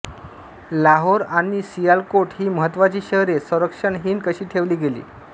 लाहोर आणि सियालकोट ही महत्त्वाची शहरे संरक्षणहीन कशी ठेवली गेली